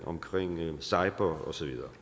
omkring cyber og så videre